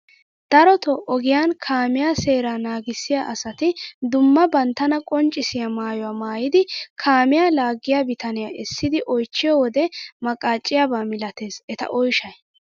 Darotoo ogiyaan kaamiyaa seeraa naagissiyaa asati dumma banttana qonccisiyaa maayuwaa maayidi kaamiyaa laaggiyaa bitaniyaa essidi oychchiyo wode maqacciyaaba milates eta oyshshay!